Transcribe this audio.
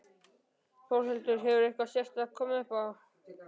Þórhildur: Hefur eitthvað sérstakt komið upp á?